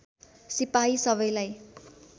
सिपाही सबैलाई